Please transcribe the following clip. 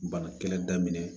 Bana kɛlɛ daminɛ